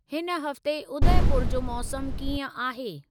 हिन हफ़्ते उदयपुर जो मौसमु कीअं आहे?